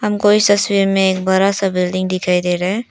कोई तस्वीर में एक बड़ा सा बिल्डिंग दिखाई दे रहा है।